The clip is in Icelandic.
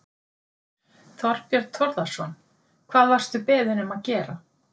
Þorbjörn Þórðarson: Hvað varstu beðinn um að gera?